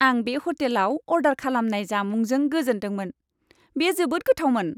आं बे ह'टेलआव अर्डार खालामनाय जामुंजों गोजोनदोंमोन। बे जोबोद गोथावमोन!